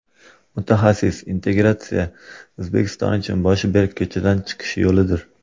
Mutaxassis: Integratsiya O‘zbekiston uchun boshi berk ko‘chadan chiqish yo‘lidir.